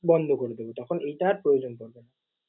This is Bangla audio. বন্ধ করে দেব। তখন এটার আর প্রয়োজন পরবে না।